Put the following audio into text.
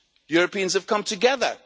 Europeans have come together.